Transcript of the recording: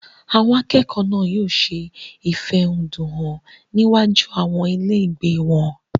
Àwọn akẹ́kọ̀ọ́ náà yóò ṣe ìfẹ̀húnnún hàn ní iwájú àwọn ilé ìgbé wọn.